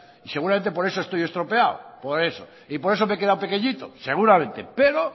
y seguramente por eso estoy estropeado por eso y por eso me he quedado pequeñito seguramente pero